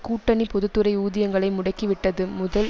கூட்டணி பொது துறை ஊதியங்களை முடக்கிவிட்டது முதல்